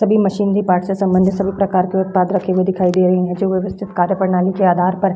सभी machinery part से संबंधित सभी प्रकार के उत्पाद रखे हुए दिखाई दे रहे हैं जो व्यवस्थित कार्य प्रणाली के आधार पर --